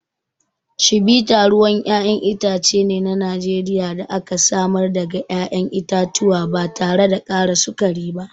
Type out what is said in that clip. Chivita ruwan ƴaƴan itace ne na Najeriya da aka samar daga ƴaƴan itatuwa ba tare da ƙara sukari ba.